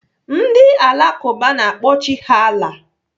Ndị Alakụba na-akpọ Chi ha Allah.